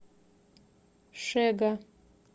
шега